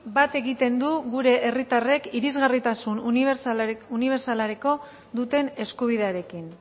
bat egiten du gure herritarrek irisgarritasun unibertsalerako duten eskubidearekin